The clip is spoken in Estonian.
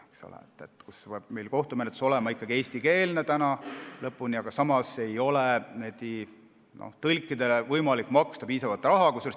Kohtumenetlus peab olema ikkagi eestikeelne, aga samas ei ole tõlkidele võimalik piisavalt maksta.